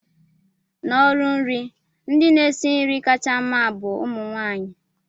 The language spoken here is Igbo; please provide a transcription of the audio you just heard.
n'ọrụ nri, ndị na-esi nri kacha mma bu umu nwanyị